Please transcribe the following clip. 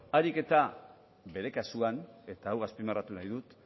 ahalik eta bere kasuan eta hau azpimarratu nahi dut